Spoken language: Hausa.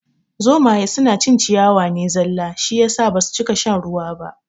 Zomaye suna cin ciyawa ne zalla shi yasa basu cika shan ruwa ba